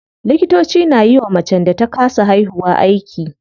Likitoci na yiwa macen da ta kasa haihuwa aiki.